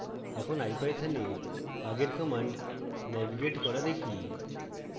এখন ipython we আগের commands navigate করা দেখি